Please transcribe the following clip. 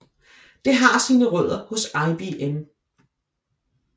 Det har sine rødder hos IBM